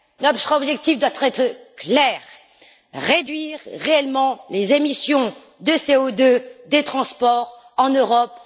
Notre objectif doit être clair réduire réellement les émissions de CO2 des transports en Europe.